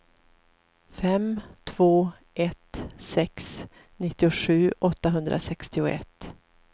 fem två ett sex nittiosju åttahundrasextioett